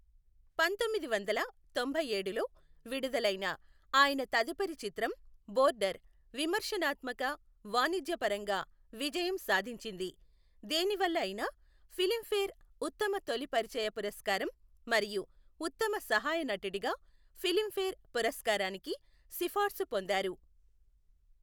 పంతొమ్మిది వందల తొంభైఏడులో విడుదలైన ఆయన తదుపరి చిత్రం బోర్డర్ విమర్శనాత్మక, వాణిజ్యపరంగా విజయం సాధించింది, దేని వల్ల అయిన ఫిలింఫేర్ ఉత్తమ తొలి పరిచయ పురస్కారం మరియు ఉత్తమ సహాయ నటుడిగా ఫిలింఫేర్ పురస్కారానికి సిఫార్సు పొందారు.